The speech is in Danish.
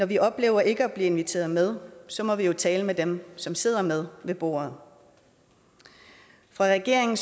vi opleve ikke at blive inviteret med så må vi tale med dem som sidder med ved bordet regeringen